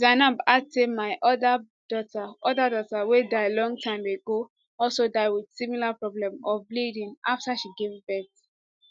zainab add say my oda daughter oda daughter wey die long time a go also die wit similar problem of bleeding afta she give birth